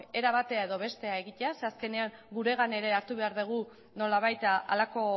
era batera edo bestera egitea zeren azkenean guregan ere hartu behar dugu nolabait halako